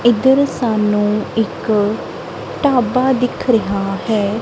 ਇਧਰ ਸਾਨੂੰ ਇੱਕ ਢਾਬਾ ਦਿਖ ਰਿਹਾ ਹੈ।